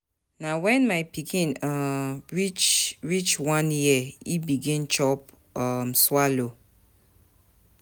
Na wen my pikin um reach reach one year e begin chop um swallow.